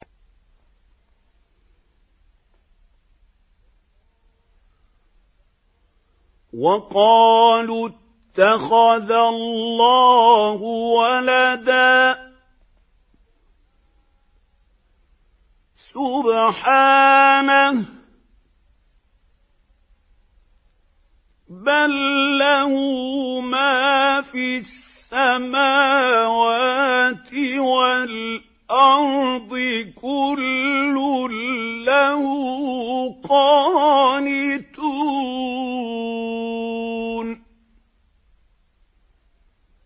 وَقَالُوا اتَّخَذَ اللَّهُ وَلَدًا ۗ سُبْحَانَهُ ۖ بَل لَّهُ مَا فِي السَّمَاوَاتِ وَالْأَرْضِ ۖ كُلٌّ لَّهُ قَانِتُونَ